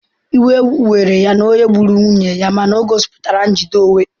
Iwe were ya na onye gburu nwunye ya mana o gosipụtara njide onwe onye.